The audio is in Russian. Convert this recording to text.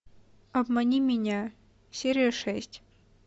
обмани меня серия шесть